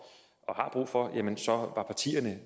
og for ja så var partierne